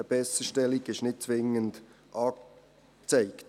Eine Besserstellung ist nicht zwingend angezeigt.